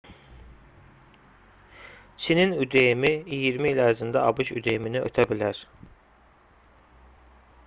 çinin üdm-i iyirmi il ərzində abş üdm-ni ötə bilər